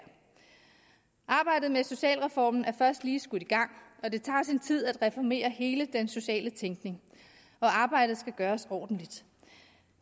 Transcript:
arbejdet med socialreformen er først lige skudt i gang og det tager sin tid at reformere hele den sociale tænkning og arbejdet skal gøres ordentligt